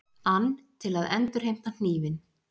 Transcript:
ann til að endurheimta hnífinn.